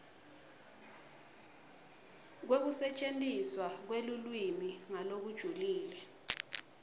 kwekusetjentiswa kwelulwimi ngalokujulile